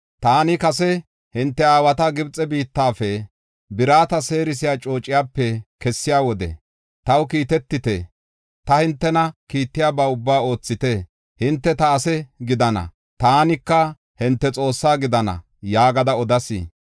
Taani kase hinte aawata Gibxe biittafe, birata seerisiya coociyape kessiya wode, ‘Taw kiitetite; ta hintena kiittiyaba ubbaa oothite. Hinte ta ase gidana; taka hinte Xoosse gidana’ yaagada odas.